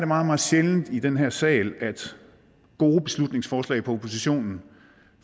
meget meget sjældent i den her sal at gode beslutningsforslag fra oppositionen